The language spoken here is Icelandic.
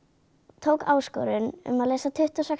tók áskorun um að lesa tuttugu og sex